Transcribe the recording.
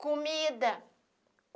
Comida.